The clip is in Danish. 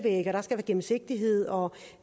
gennemsigtighed og